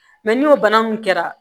Mɛ n'o bana mun kɛra